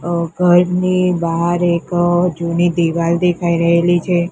ઘરની બાર એક જૂની દીવાલ દેખાઈ રહેલી છે.